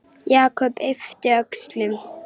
Jakob yppti öxlum.